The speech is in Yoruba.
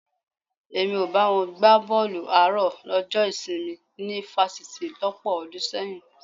Èmi ò bá wọn gbá bọ́ọ̀lù àárọ̀ lọ́jọ́ ìsinmi ní fásitì lọ́pọ̀ ọdún sẹ́yìn